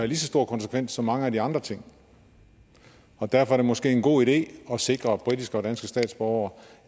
lige så store konsekvenser som mange af de andre ting og derfor er det måske en god idé at sikre britiske og danske statsborgere